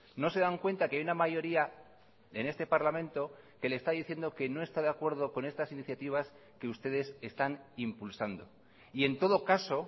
no se dan cuenta que hay una mayoría en este parlamento que le está diciendo que no está de acuerdo con estas iniciativas que ustedes están impulsando y en todo caso